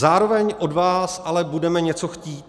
Zároveň od vás ale budeme něco chtít.